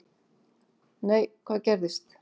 Nei, hvað gerðist?